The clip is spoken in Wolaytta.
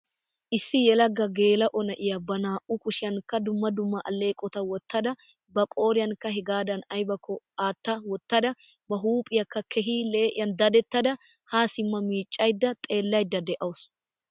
Issi yalaga geela'o na'iya ba naa'u kushshiyankka dumma dumma aleeqotta wottada, ba qooriyankka hegaadan aybbakko atta wottada ba huuphphiyakka keehii lee'iyan dadettadaha sima miccaydda xeellaydda dea'wusu.